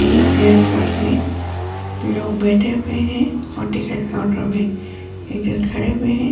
इस एयरपोर्ट में लोग बैठे हुए हैं और टिकट काउंटर में खड़े हुए हैं।